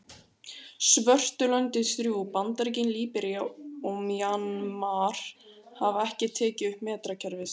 Svörtu löndin þrjú, Bandaríkin, Líbería og Mjanmar hafa ekki tekið upp metrakerfið.